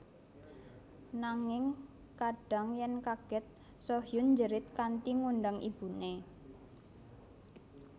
Nanging kadhang yen kaget Soo Hyun njerit kanthi ngundang ibune